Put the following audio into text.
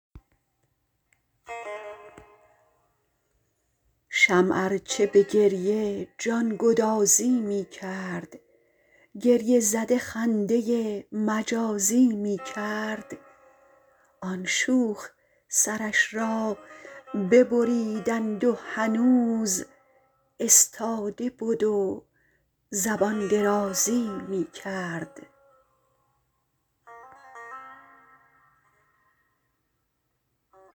شمع ارچه به گریه جانگدازی می کرد گریه زده خنده مجازی می کرد آن شوخ سرش را ببریدند و هنوز استاده بد و زبان درازی می کرد